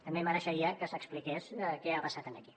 també mereixeria que s’expliqués què ha passat aquí